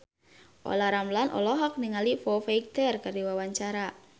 Olla Ramlan olohok ningali Foo Fighter keur diwawancara